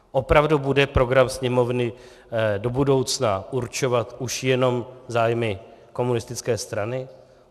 Opravdu bude program Sněmovny do budoucna určovat už jenom zájmy komunistické strany?